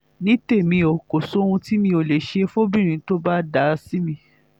ní tèmi o kò sóhun tí mi ò lè ṣe fọ́bìnrin tó bá dáa sí mi